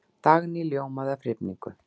Dagný ljómaði af hrifningu.